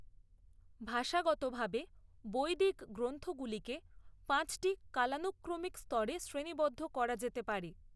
ভাষাগতভাবে, বৈদিক গ্রন্থগুলিকে পাঁচটি কালানুক্রমিক স্তরে শ্রেণীবদ্ধ করা যেতে পারে